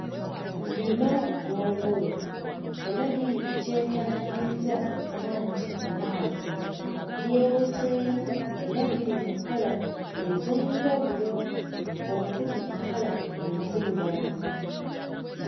Lino ggongolo era liri ku kyefaanaanyiriza okuba nti lwazi. Lyeweseemu era liri mu kkala ez'enjawulo okuli kkala enzirugavu.